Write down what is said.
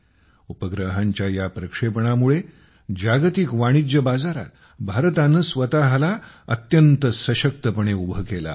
उपग्रहांच्या या प्रक्षेपणामुळे जागतिक वाणिज्य बाजारात भारताने स्वतःला अत्यंत सशक्तपणे उभे केले आहे